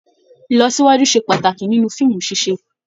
Ìlọsíwájú se pàtàkì nínú fíìmù ṣiṣe.